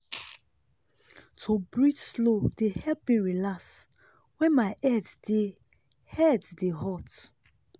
to breathe slow dey help me relax when my head dey head dey hot.